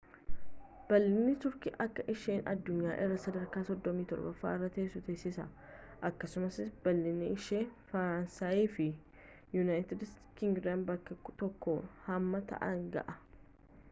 bal'inni turkii akka isheen addunyaa irraa sadarkaa 37 irra teessu taasisaa akkasumas bal'inni ishee faransaayii fi yuunayiitid kingidaam bakka tokkotti hamma ta'aan ga'a